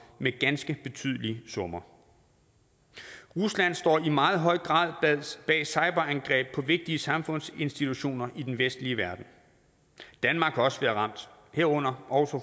med ganske betydelige summer rusland står i meget høj grad bag cyberangreb på vigtige samfundsinstitutioner i den vestlige verden danmark har også været ramt herunder også